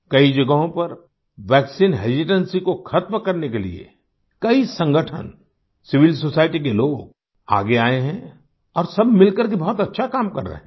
कई जगहों पर वैक्सीन हेसिटेंसी को खत्म करने के लिए कई संगठन सिविल सोसाइटी के लोग आगे आये हैं और सब मिलकर के बहुत अच्छा काम कर रहे हैं